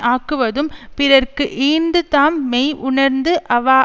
ஆக்குவதும் பிறர்க்கு ஈந்து தாம் மெய் உணர்ந்து அவா